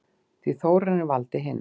Því Þórarinn valdi hina.